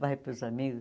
Vai para os amigos.